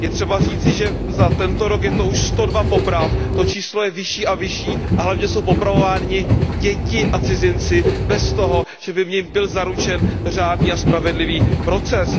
Je třeba říci, že za tento rok je to už sto dva poprav, to číslo je vyšší a vyšší a hlavně jsou popravovány děti a cizinci bez toho, že by u nich byl zaručen řádný a spravedlivý proces.